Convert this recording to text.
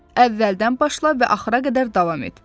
Əvvəldən başla və axıra qədər davam et.